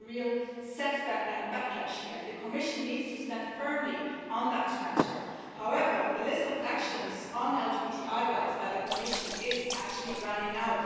We see a real setback and a backlash here, and the Commission needs to stand firmly on that matter. However, the list of actions on LGBTI rights by the Commission is actually running out.